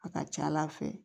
A ka ca ala fɛ